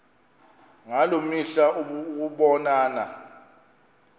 ngaloo mihla ukubonana